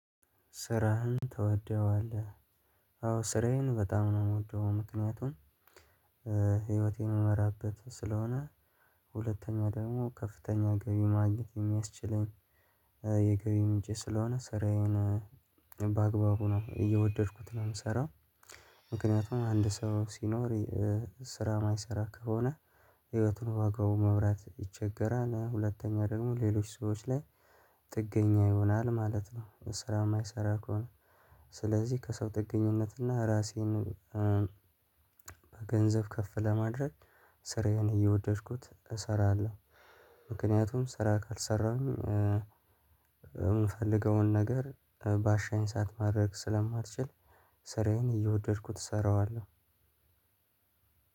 ስራህን ትወደዋለህ? አዎ ስራዬን በጣም ነው የምወደው ምክንያቱም ህይወቴን እምመራበት ስለሆነ። ሁለተኛ ደግሞ ከፍተኛ ገቢ ማግኘት የሚያስችለኝ። የገቢ ምንጭ ስለሆነ ስራዬን በአግባቡ ነው እየወደድኩት ነው ምስራው። ምክንያቱም አንድ ሰው ሲኖር ስራ የማይሰራ ከሆነ ህይወቱን ዋጋው መምራት ይቸገራል። ሁለተኛ ደግሞ ሌሎች ሰዎች ላይ ጥገኛ ይሆናል ማለት ነው። ስራ የማይሰራ ከሆነ ስለዚህ ከሰው ጥገኝነትና ራሴን በገንዘብ ከፍ ለማድረግ ስራዬን እየወደድኩት እሰራለሁ። ምክንያቱም ስራ ካልሰራሁኝ የምፈልገውን ነገር ባሻኝ ሰዓት ማድረግ ስለማልችል። ስራዬን እየወደድኩት እሰራዋለሁ።